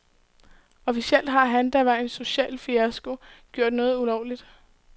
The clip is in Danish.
Officielt har han, der var en social fiasko, gjort noget ulovligt.